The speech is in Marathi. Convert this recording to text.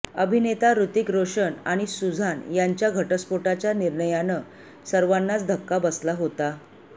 अभिनेता हृतिक रोशन आणि सुझान यांच्या घटस्फोच्या निर्णयानं सर्वांनाच धक्का बसला होता